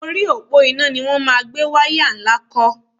Orí òpó iná ni wọ́n máa gbé wáyá tó ńlá kọ́